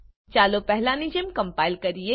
ચાલો પહેલાની જેમ કમ્પાઈલ કરીએ